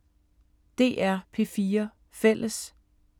DR P4 Fælles